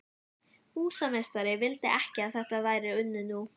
Húsameistari vildi ekki að þetta væri unnið nú.